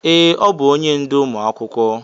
Ee, ọbụ onye ndú ụmụ akwụkwọ.